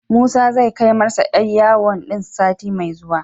Musa zai kai masa 'yar yawon din sati mai zuwa.